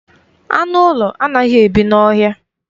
Anụ ụlọ anaghị ebi n'ọhịa